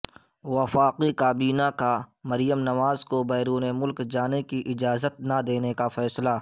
وفاقی کابینہ کا مریم نواز کو بیرون ملک جانے کی اجازت نہ دینے کا فیصلہ